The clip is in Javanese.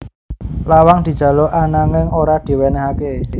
Lawang dijaluk ananging ora diwènèhaké